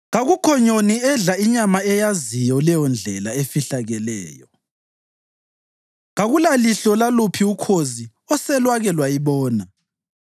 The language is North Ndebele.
Kakukho nyoni edla inyama eyaziyo leyondlela efihlekileyo, kakulalihlo laluphi ukhozi oselwake lwayibona.